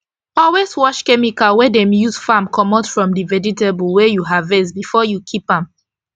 always wash chemical wey dem use farm comot from d vegetable wey u harvest before u keep am